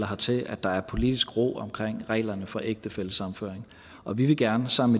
hertil at der er politisk ro omkring reglerne for ægtefællesammenføring og vi vil gerne sammen